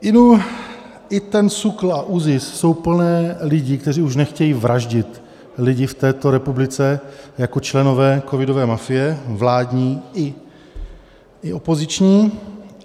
Inu, i ten SÚKL a ÚZIS jsou plné lidí, kteří už nechtějí vraždit lidi v této republice jako členové covidové mafie vládní i opoziční.